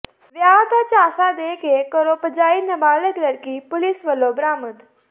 ਵਿਆਹ ਦਾ ਝਾਂਸਾ ਦੇ ਕੇ ਘਰੋਂ ਭਜਾਈ ਨਬਾਲਗ ਲੜਕੀ ਪੁਲਿਸ ਵੱਲੋਂ ਬਰਾਮਦ